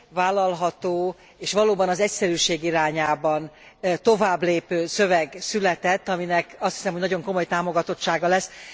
vállalható és valóban az egyszerűség irányába továbblépő szöveg született, aminek, azt hiszem, hogy nagyon komoly támogatottsága lesz.